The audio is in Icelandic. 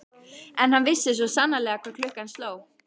En hann vissi svo sannarlega hvað klukkan sló.